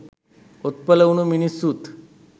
ඔත්පල වුන මිනිස්සුත්